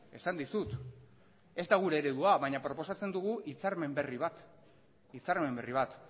esan dizut ez da gure eredua baina proposatzen dugu hitzarmen berri bat hitzarmen berri bat